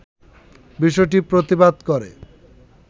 বিষয়টির প্রতিবাদ করে